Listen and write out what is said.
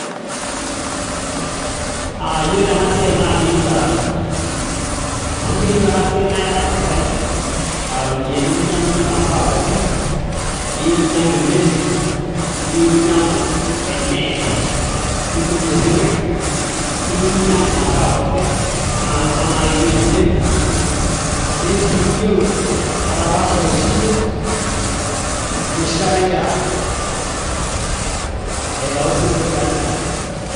uh, yiolo ena siai naa keyieu barata amu keyieu ena siai naa iyata impisai aa iropiyiani ninyiang'unyie imasaa pookin eyieui ninyiang'u e meli eyieu ninyiang'u e net nimbung'ie isinkirr eyieu ninyiang'u imasaa pookin anaa kuna naarewieki emeli neyieu sii niyiolo atapaashare osiwuo enoshi kata ingira aitau isinkirr tiatua enkare